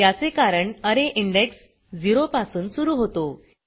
याचे कारण अरे इंडेक्स 0 पासून सुरू होतो